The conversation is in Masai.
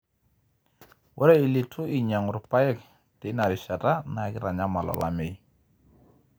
ore ileitu einyiang'u irpaek teina rishata naa keitanyamal olameyu.